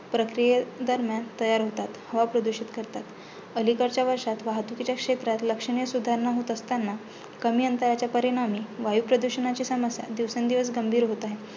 प्रक्रियेदरम्यान तयार होतात हवा प्रदूषित करतात. अलीकडच्या वर्षात वाहुतूकीच्या क्षेत्रात लक्षणीय सुधारणा होत असतांना कमी अंतराच्या परिणामी वायुप्रदुषणाची समस्या दिवसेंदिवस गंभीर होत आहे.